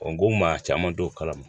O n ko maa caman t'o kalama